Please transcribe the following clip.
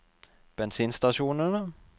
bensinstasjonene